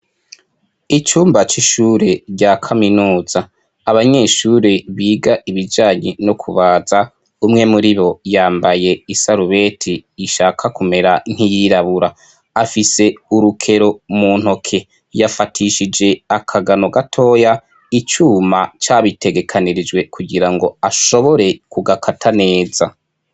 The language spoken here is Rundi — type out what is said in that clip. Icumba c'ishure rya kaminuza abanyeshure biga ibijanye no kubaza umwe muri bo yambaye isarubeti ishaka kumera ntiyirabura afise urukero mu ntoke yafatishije akagano gatoya icuma ca bitegekanirijwe kugira ngo ashobore kugakata neza.